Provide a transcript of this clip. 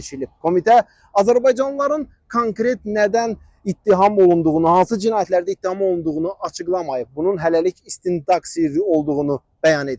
Komitə azərbaycanlıların konkret nədən ittiham olunduğunu, hansı cinayətlərdə ittiham olunduğunu açıqlamayıb, bunun hələlik istintaq sirri olduğunu bəyan edib.